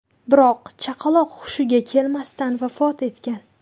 Biroq chaqaloq hushiga kelmasdan vafot etgan.